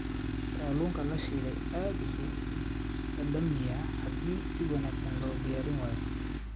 Kalluunka la shiilay aad buu u dhadhamiyaa haddii si wanaagsan loo diyaariyo.